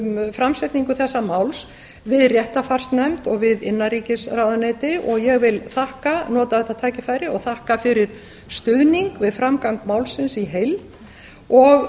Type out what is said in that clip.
framsetningu þessa máls við réttarfarsnefnd og við innanríkisráðuneyti og ég vil nota þetta tækifæri og þakka fyrir stuðning við framgang málsins í heild og